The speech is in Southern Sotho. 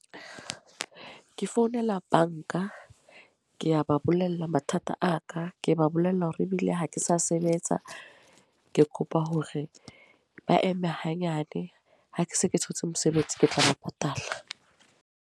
Ke founela banka, ke a ba bolella mathata a ka. Ke ba bolella hore ebile ha ke sa sebetsa, ke kopa hore ba eme hanyane. Ha ke se ke thotse mosebetsi ke tla ba patala.